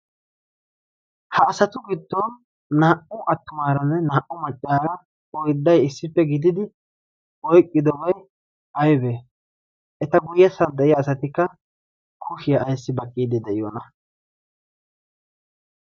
ha asatu giddon naa'u attumaaranne naa'u maccaara oydday issippe gididi oyqqidobai aybe eta guyyessan deyiya asatikka kushiyaa aissi baqqiidi de'iyoona?